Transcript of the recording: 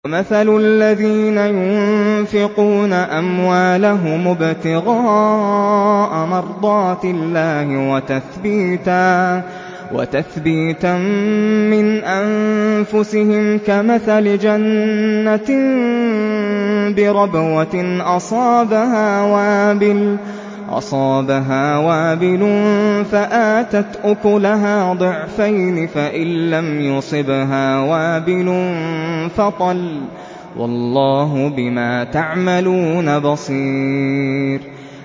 وَمَثَلُ الَّذِينَ يُنفِقُونَ أَمْوَالَهُمُ ابْتِغَاءَ مَرْضَاتِ اللَّهِ وَتَثْبِيتًا مِّنْ أَنفُسِهِمْ كَمَثَلِ جَنَّةٍ بِرَبْوَةٍ أَصَابَهَا وَابِلٌ فَآتَتْ أُكُلَهَا ضِعْفَيْنِ فَإِن لَّمْ يُصِبْهَا وَابِلٌ فَطَلٌّ ۗ وَاللَّهُ بِمَا تَعْمَلُونَ بَصِيرٌ